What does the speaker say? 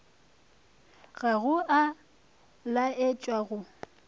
ga go a laetšwa go